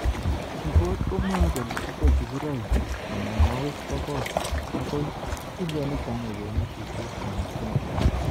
Ripot komwoe kole ite sigiroik 900,000 akoo 1.8 million eng Kenya